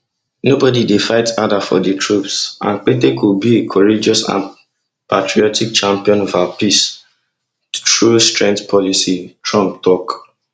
nobody dey fight harder for di troops and pete go be a courageous and patriotic champion of our peace through strength policy trump tok